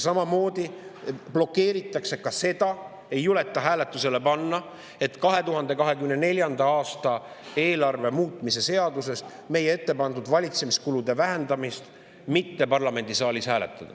Samamoodi ei juleta hääletusele panna 2024. aasta eelarve muutmise seaduses meie ettepandud valitsemiskulude vähendamise.